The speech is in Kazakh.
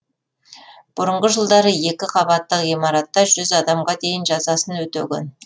бұрынғы жылдары екі қабаттық ғимаратта жүз адамға дейін жазасын өтеген